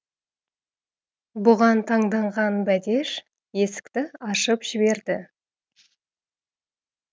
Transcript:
бұған таңданған бәдеш есікті ашып жіберді